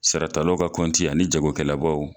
Saratalaw ka kɔnti ani jagokɛlabɔw